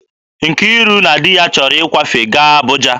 Nkiru na di ya chọrọ ịkwafe gaa Abụja